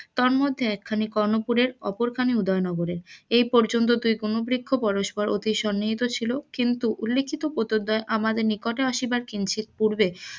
তদ মধ্যে একখানি কর্ণ পুরের একখানি উদয় নগরের এই পর্যন্ত দুই বন বৃক্ষ পরস্পর অতি সন্নিহিত ছিল কিন্তু উল্লেখিত দ্বয় আমাদের নিকটে আসিবার কিঞ্চিত পুর্বে,